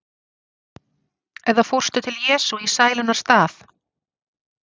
Eða fórstu til Jesú í sælunnar stað?